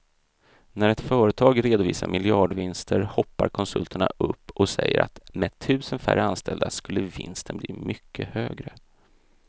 När ett företag redovisar miljardvinster hoppar konsulterna upp och säger att med tusen färre anställda skulle vinsten bli mycket högre.